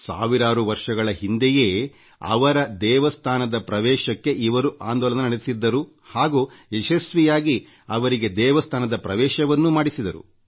ಸಾವಿರಾರು ವರ್ಷಗಳ ಹಿಂದೇ ಅವರ ದೇವಸ್ಥಾನದ ಪ್ರವೇಶಕ್ಕೆ ಇವರು ಆಂದೋಲನ ನಡೆಸಿದ್ದರು ಹಾಗೂ ಯಶಸ್ವಿಯಾಗಿ ಅವರಿಗೆ ದೇವಸ್ಥಾನದ ಪ್ರವೇಶಕ್ಕೂ ಅವಕಾಶ ಮಾಡಿಕೊಟ್ಟಿದ್ದರು